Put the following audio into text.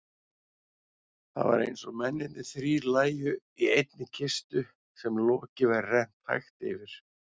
Það var einsog mennirnir þrír lægju í einni kistu sem loki væri rennt hægt yfir.